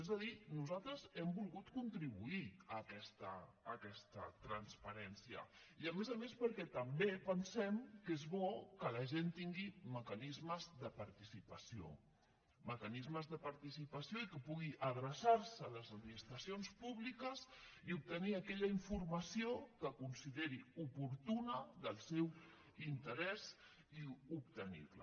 és a dir nosaltres hem volgut contribuir a aquesta transparència i a més a més perquè també pensem que és bo que la gent tingui mecanismes de participació mecanismes de participació i que pugui adreçar se a les administracions públiques i obtenir aquella informació que consideri oportuna del seu interès i obtenir la